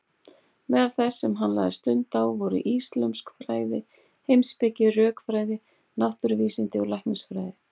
Meðal þess sem hann lagði stund á voru íslömsk fræði, heimspeki, rökfræði, náttúruvísindi og læknisfræði.